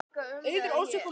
Auður ólst upp á Núpi.